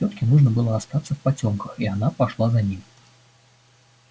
тётке жутко было оставаться в потёмках и она пошла за ним